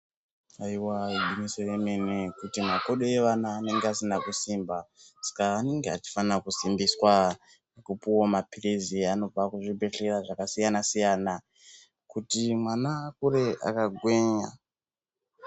Ayiwa ingwinyiso yemune yokuti makodo evana anenge asina kusimba saka anenge achifana kusimbiswa ngekupiwawo mapiritsi anopuwa kizvibhehliya zvakasiyana siyana kuti mwana akure akagwinya.